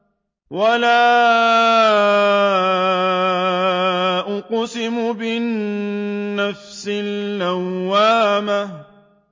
وَلَا أُقْسِمُ بِالنَّفْسِ اللَّوَّامَةِ